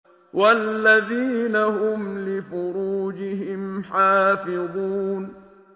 وَالَّذِينَ هُمْ لِفُرُوجِهِمْ حَافِظُونَ